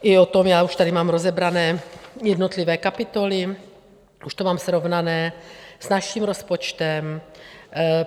I o tom, já už tady mám rozebrané jednotlivé kapitoly, už to mám srovnané s naším rozpočtem.